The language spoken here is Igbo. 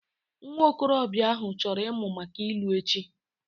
Nwa okorobịa ahụ chọrọ ịmụ maka ilu echi